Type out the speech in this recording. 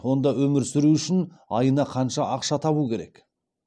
онда өмір сүру үшін айына қанша ақша табу керек